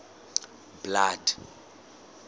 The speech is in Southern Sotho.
blood